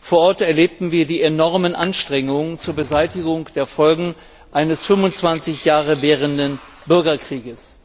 Vor Ort erlebten wir die enormen Anstrengungen zur Beseitigung der Folgen eines 25 Jahre währenden Bürgerkriegs.